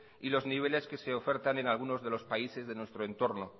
y los niveles que se ofertan en algunos de los países de nuestro entorno